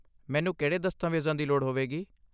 ਮੈਨੂੰ ਕਿਹੜੇ ਦਸਤਾਵੇਜ਼ਾਂ ਲੋੜ ਹੋਏਗੀ?